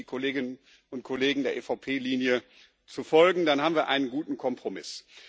Und ich bitte die Kolleginnen und Kollegen, der EVP Linie zu folgen, dann haben wir einen guten Kompromiss.